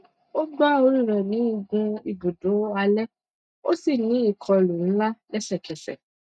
ó gbá orí rẹ ní igun ibùdó alẹ ó sì ní ìkọlù ńlá lẹsẹkẹsẹ